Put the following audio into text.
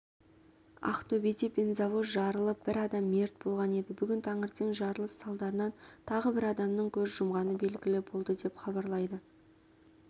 ақтөбеде бензовоз жарылып бір адам мерт болған еді бүгін таңертең жарылыс салдарынан тағы бір адамның көз жұмғаны белгілі болды деп хабарлайды